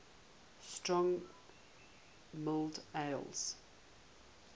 strong mild ales